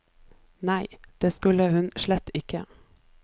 Nei, det skulle hun slett ikke.